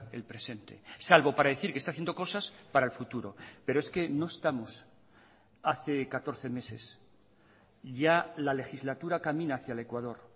el presente salvo para decir que está haciendo cosas para el futuro pero es que no estamos hace catorce meses ya la legislatura camina hacía el ecuador